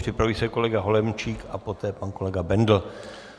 Připraví se kolega Holomčík a poté pan kolega Bendl.